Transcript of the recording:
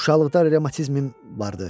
Uşaqlıqda revmatizmim vardı.